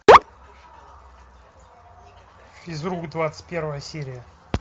физрук двадцать первая серия